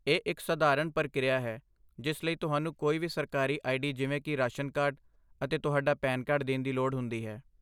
ਇਹ ਇੱਕ ਸਧਾਰਨ ਪ੍ਰਕਿਰਿਆ ਹੈ ਜਿਸ ਲਈ ਤੁਹਾਨੂੰ ਕੋਈ ਵੀ ਸਰਕਾਰੀ ਆਈਡੀ ਜਿਵੇਂ ਕਿ ਰਾਸ਼ਨ ਕਾਰਡ, ਅਤੇ ਤੁਹਾਡਾ ਪੈਨ ਕਾਰਡ ਦੇਣ ਦੀ ਲੋੜ ਹੁੰਦੀ ਹੈ।